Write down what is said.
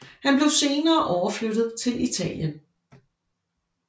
Han blev senere overflyttet til Italien